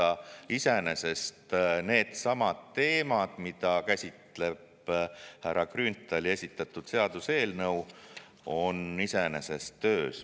Ehk siis iseenesest needsamad teemad, mida käsitleb härra Grünthali esitatud seaduseelnõu, on töös.